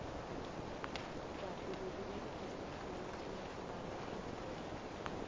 kade bekuberegiswa amatje nakubalwa iinkomo